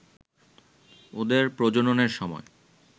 ওদের প্রজননের সময়